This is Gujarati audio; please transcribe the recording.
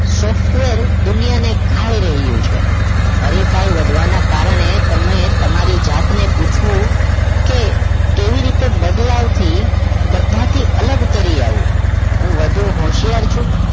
Software દુનિયાને ખાઈ રહી છે હરીફાઈ વધવાના કારણે તમે તમારી જાતને પૂછ્યું કે કેવી રીતે બદલાવથી બધાથી અલગ તરી આવું હું વધુ હોશિયાર છું